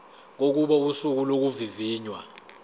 kokuba usuku lokuvivinywa